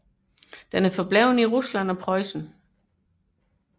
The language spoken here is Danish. Den er bevaret i Rusland og Preussen